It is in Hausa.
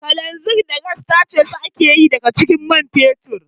Kananzir da gas tace su ake yi daga jikin man fetur